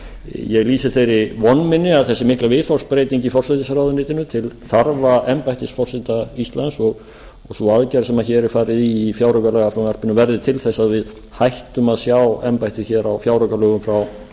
ég lýsi þeirri von minni að þessi mikla viðhorfsbreyting í forsætisráðuneytinu til þarfa embættis forseta íslands og sú aðgerð sem hér er farið í í fjáraukalagafrumvarpinu verði til árs að við hættum að sjá embættið á fjáraukalögum frá